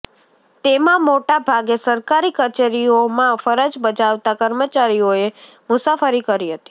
તેમા મોટાભાગે સરકારી કચેરીઓમાં ફરજ બજાવતા કર્મચારીઓએ મુસાફરી કરી હતી